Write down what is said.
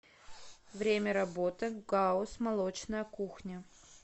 время работы гауз молочная кухня